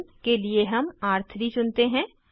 र1 के लिए हम र3 चुनते हैं